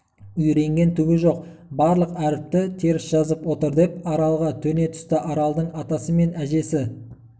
үйренген түгі жоқ барлық әріпті теріс жазып отыр деп аралға төне түсті аралдың атасы мен әжесі